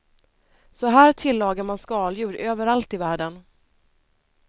Så här tillagar man skaldjur överallt i världen.